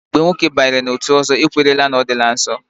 Mgbe nwoke banyere n'otu ọzọ, e kwenyere na ọ dịla nsọ.